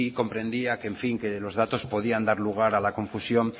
comprendía que los datos podían dar lugar a la confusión